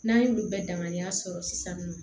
N'an y'olu bɛɛ danganiya sɔrɔ sisan nɔ